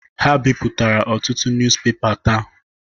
Ha bipụtara ọtụtụ nuz pepa taa.